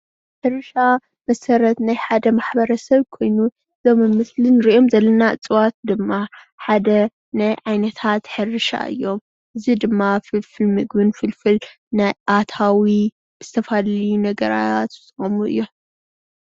ሕርሻ መሰረት ናይ ሓደ ሕብረተሰብ ኮይኑ እዞም ኣብዚ ምስሊ እንሪኦም ዘለና እፅዋት ድማ ሓደ ናይ ዓይነታት ሕርሻ እዩም፣ እዙይ ድማ ፍልፍል ምግብን ናይ ኣታዊ ዝተፈላለዩ ነገራት ዝቀርቡ እዮም፡